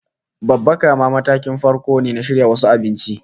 Babbaka ma matakin farko ne na shirya wasu abinci